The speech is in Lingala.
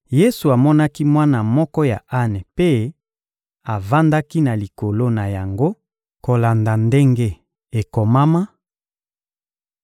Yesu amonaki mwana moko ya ane mpe avandaki na likolo na yango kolanda ndenge ekomama: